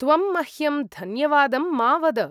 त्वं मह्यं धन्यवादं मा वद।